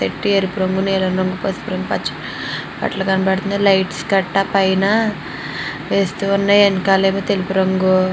బెట్టారు పొంగు న పుసుపు రంగు కనబడ్తున్నాయి లైట్స్ కనబడ్తున్నాయి. వెనకాల ఎమో తెలుపు రంగు --